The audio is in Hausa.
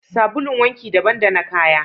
Sabulun wanki daban da na kaya